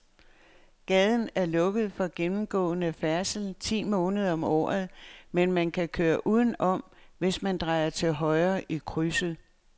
Gaden er lukket for gennemgående færdsel ti måneder om året, men man kan køre udenom, hvis man drejer til højre i krydset.